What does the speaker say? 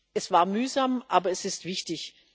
Es war mühsam, aber es ist wichtig.